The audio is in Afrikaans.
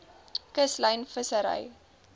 kuslyn vissery